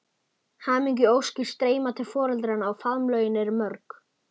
Hamingjuóskir streyma til foreldranna og faðmlögin eru mörg.